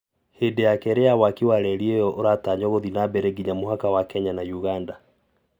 hĩndĩ ya kerĩ ya waki wa reri iyo uratanywogũthii nambere nginya mũhaka wa kenya na ũgandage Translation